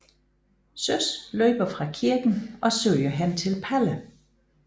Søs løber fra kirken og søger hen til Palle